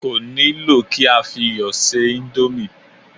Kò nílò kí á fi iyọ̀ ṣe íńdómì.